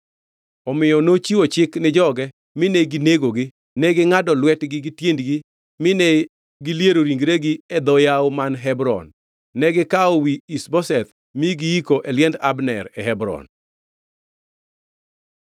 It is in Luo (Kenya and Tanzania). Omiyo nochiwo chik ni joge, mine ginegogi. Negingʼado lwetgi gi tiendgi mine giliero ringregi e dho yawo man Hebron. Negikawo wi Ish-Boseth ma giyiko e liend Abner e Hebron.